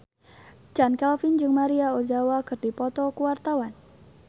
Chand Kelvin jeung Maria Ozawa keur dipoto ku wartawan